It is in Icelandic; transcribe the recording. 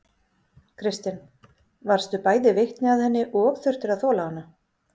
Kristinn: Varðstu bæði vitni að henni og þurftir að þola hana?